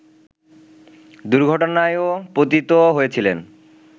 দুর্ঘটনায়ও পতিত হয়েছিলেন